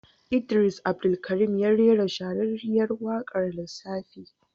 Idris Abdulkarim ya rera shahararriyar waƙar lissafi.